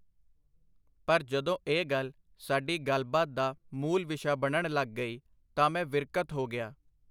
ਪਰ ਜਦੋਂ ਇਹ ਗੱਲ ਸਾਡੀ ਗੱਲਬਾਤ ਦਾ ਮੂਲ-ਵਿਸ਼ਾ ਬਣਨ ਲਗ ਗਈ, ਤਾਂ ਮੈਂ ਵਿਰਕਤ ਹੋ ਗਿਆ.